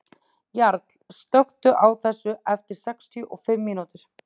Jarl, slökktu á þessu eftir sextíu og fimm mínútur.